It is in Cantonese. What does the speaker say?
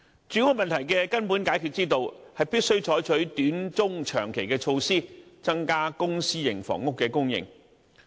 住屋問題的根本解決之道，是必須採取短、中、長期的措施，增加公、私營房屋的供應。